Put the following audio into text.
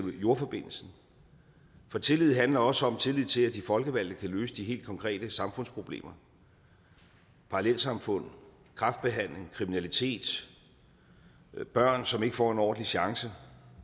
jordforbindelsen for tillid handler også om tillid til at de folkevalgte kan løse de helt konkrete samfundsproblemer parallelsamfund kræftbehandling kriminalitet børn som ikke får en ordentlig chance